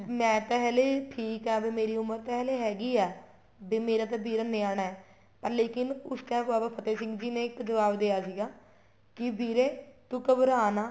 ਮੈਂ ਤਾਂ ਹਲੇ ਠੀਕ ਆ ਵੀ ਮੇਰੀ ਉਮਰ ਤਾਂ ਹਲੇ ਹੈਗੀ ਆ ਵੀ ਮੇਰਾ ਤਾਂ ਵੀਰਾ ਹਲੇ ਨਿਆਣਾ ਹੈ ਪਰ ਲੇਕਿਨ ਉਸ time ਬਾਬਾ ਫ਼ਤਿਹ ਸਿੰਘ ਜੀ ਨੇ ਇੱਕ ਜੁਆਬ ਦਿਆ ਸੀਗਾ ਕੀ ਵੀਰੇ ਤੂੰ ਘਬਰਾ ਨਾ